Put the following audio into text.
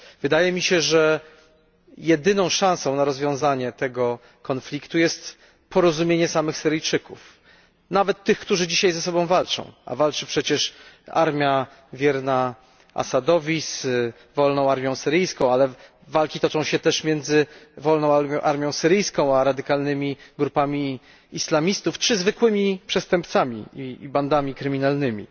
Wydaje mi się, że jedyną szansą na rozwiązanie tego konfliktu jest porozumienie samych Syryjczyków, nawet tych, którzy dzisiaj ze sobą walczą, a walczy przecież armia wierna Asadowi z Wolną Armią Syryjską, ale walki toczą się też między Wolną Armią Syryjską a radykalnymi grupami islamistów czy zwykłymi przestępcami i bandami kryminalnymi.